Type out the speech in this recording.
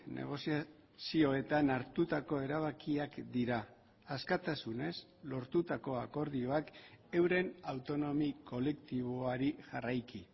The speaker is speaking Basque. negoziazioetan hartutako erabakiak dira askatasunez lortutako akordioak euren autonomi kolektiboari jarraiki